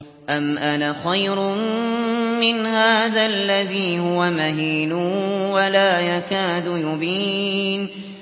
أَمْ أَنَا خَيْرٌ مِّنْ هَٰذَا الَّذِي هُوَ مَهِينٌ وَلَا يَكَادُ يُبِينُ